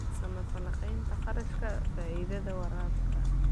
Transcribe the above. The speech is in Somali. Samee falanqaynta kharashka-faa'iidada waraabka.